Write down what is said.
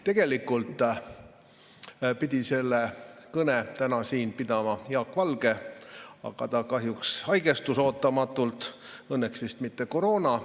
Tegelikult pidi selle kõne pidama Jaak Valge, aga ta kahjuks haigestus ootamatult, õnneks vist mitte koroonasse.